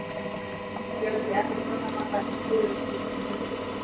Fjöldi efnasambanda í tjöru skiptir hundruðum.